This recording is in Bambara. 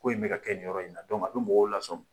Ko in bɛ ka kɛ nin yɔrɔ in na, a bɛ mɔgɔw lasɔmin